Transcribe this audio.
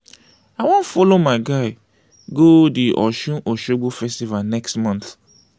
i wan folo my guy go di osun osogbo festival next month.